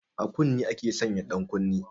A kunne ake sanya ɗankunne